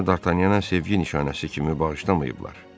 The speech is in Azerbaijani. Bunu Dartanyana sevgi nişanəsi kimi bağışlamayıblar.